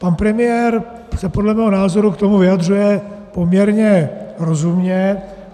Pan premiér se podle mého názoru k tomu vyjadřuje poměrně rozumně.